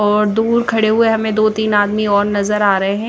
और दूर खड़े हुए हमें दो तीन आदमी और नजर आ रहे हैं।